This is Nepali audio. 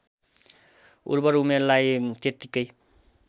उर्वर उमेरलाई त्यत्तिकै